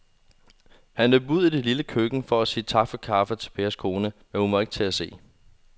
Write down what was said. Han løb ud i det lille køkken for at sige tak for kaffe til Pers kone, men hun var ikke til at se.